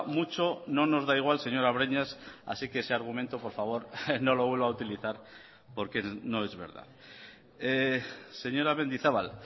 mucho no nos da igual señora breñas así que ese argumento por favor no lo vuelva a utilizar porque no es verdad señora mendizabal